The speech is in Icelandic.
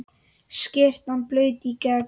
Skyrtan blaut í gegn.